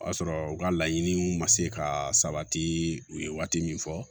O y'a sɔrɔ u ka laɲiniw ma se ka sabati u ye waati min fɔ